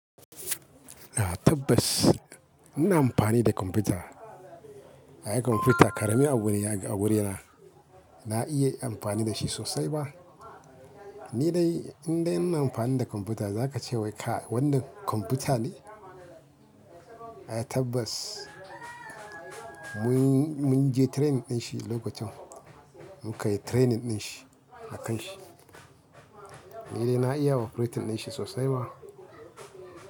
A'a tabbas ina amfani da kwamfuta. Ai kwamfuta ƙarami abu ne a wurina. Na iya amfani da shi sosai ba. Ni dai in dai ina amfani da kwamfuta za ka ce wai ka wannan kwamfuta ne? Ai tabbas. Mun-mun je training din shi lokacin. Munkayi training din shi a kan shi. Ni dai na iya operating din shi sosai ba.